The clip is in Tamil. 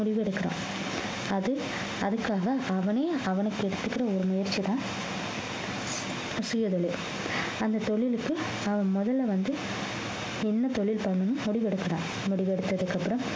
முடிவு கேட்கிறோம் அது அதுக்காக அவனே அவனுக்கு எடுத்துக்கிற ஒரு முயற்சிதான் சுயதொழில் அந்த தொழிலுக்கு அவன் முதல்ல வந்து என்ன தொழில் பண்ணணும்ன்னு முடிவெடுக்குறான் முடிவெடுத்ததுக்கு அப்புறம்